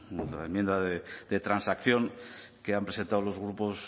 la enmienda de transacción que han presentado los grupos